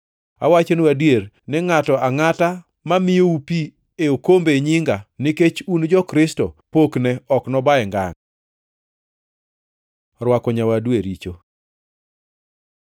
Awachonu adier ni ngʼato angʼata mamiyou pi e okombe e nyinga, nikech un jo-Kristo pokne ok nobaye ngangʼ. Rwako nyawadu e richo